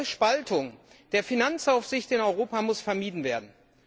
Eine neue Spaltung der Finanzaufsicht in Europa muss vermieden werden.